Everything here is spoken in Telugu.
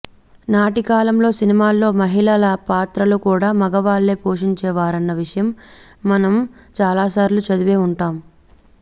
నాటి కాలంలో సినిమాల్లో మహిళల పాత్రలు కూడా మగవాళ్లే పోషించేవారన్న విషయం మనం చాలాసార్లు చదివే ఉంటాం